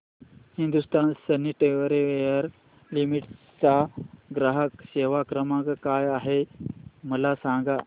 Hindustan Sanitaryware Limited चा ग्राहक सेवा क्रमांक काय आहे मला सांगा